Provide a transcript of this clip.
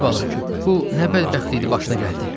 Əziz bala, bu nə bədbəxtlikdir başına gəldi?